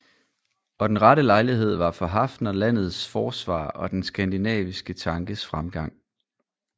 Og den rette lejlighed var for Haffner landets forsvar og den skandinaviske tankes fremgang